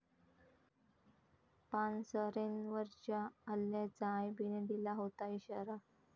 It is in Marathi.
पानसरेंवरच्या हल्ल्याचा आयबीने दिला होता इशारा